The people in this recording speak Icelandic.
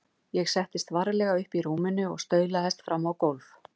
Ég settist varlega upp í rúminu og staulaðist fram á gólf.